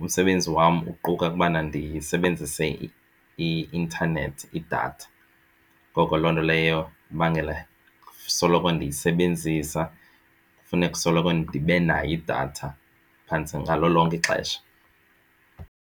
Umsebenzi wam uquka ukubana ndisebenzise i-intanethi idatha. Ngoko loo nto leyo ibangela soloko ndiyisebenzisa funeka usoloko ndibe nayo idatha phantse ngalo lonke ixesha.